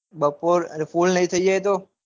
બપોર અન full નઈ થઇ જાય તો. પહી